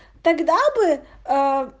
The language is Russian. тогда бы аа